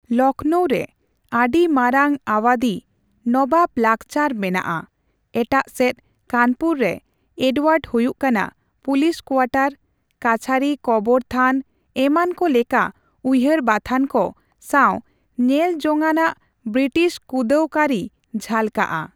ᱞᱚᱠᱷᱚᱱᱳ ᱨᱮ ᱟᱹᱰᱤᱢᱟᱨᱟᱝ ᱟᱣᱟᱫᱷᱤ ᱱᱚᱵᱟᱵ ᱞᱟᱠᱪᱟᱨ ᱢᱮᱱᱟᱜᱼᱟ, ᱮᱴᱟᱜ ᱥᱮᱫ ᱠᱟᱱᱯᱩᱨ ᱨᱮ ᱮᱰᱣᱟᱨᱰ ᱦᱩᱭᱩᱜ ᱠᱟᱱᱟ, ᱯᱩᱞᱤᱥ ᱠᱳᱣᱟᱴᱟᱨ, ᱠᱟᱹᱪᱷᱟᱹᱨᱤ ᱠᱚᱵᱚᱨ ᱛᱷᱟᱱ ᱮᱢᱟᱱᱠᱚ ᱞᱮᱠᱟ ᱩᱭᱦᱟᱹᱨ ᱵᱟᱛᱷᱟᱱ ᱠᱚ ᱥᱟᱣ ᱧᱮᱞᱡᱚᱝᱟᱱ ᱵᱨᱤᱴᱤᱥ ᱠᱩᱸᱫᱟᱹᱣ ᱠᱟᱹᱨᱤ ᱡᱷᱟᱞᱠᱟᱜᱼᱟ ᱾